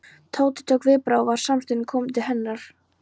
Tóti tók viðbragð og var samstundis kominn til hennar.